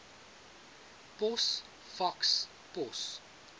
pos faks pos